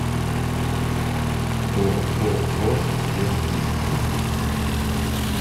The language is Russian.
ооо техникс